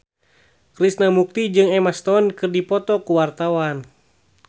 Krishna Mukti jeung Emma Stone keur dipoto ku wartawan